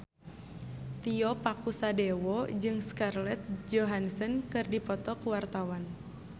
Tio Pakusadewo jeung Scarlett Johansson keur dipoto ku wartawan